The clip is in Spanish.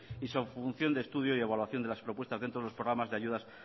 y su función de estudio y evaluación de las propuestas dentro de los programas de ayudas